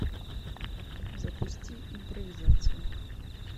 запусти импровизация